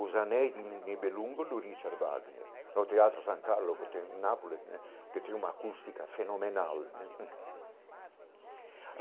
Os anéis de Nibelungo do Richard Wagner, no Teatro San Carlo, que tem nápoles né, que tem uma acústica fenomenal né.